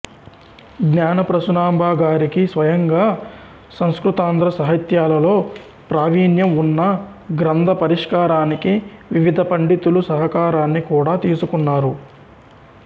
జ్ఞానప్రసూనాంబ గారికి స్వయంగా సంస్కృతాంధ్ర సాహిత్యాలలో ప్రావీణ్యం ఉన్నా గ్రంథ పరిష్కారానికి వివిధ పండితుల సహకారాన్ని కూడా తీసుకున్నారు